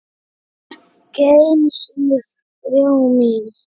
Ekki einu sinni þrá mín.